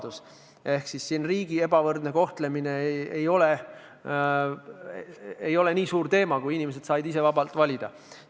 Kuna inimesed said ise vabalt valida, siis selles asjas ei ole riigipoolne ebavõrdne kohtlemine niivõrd määrav teema.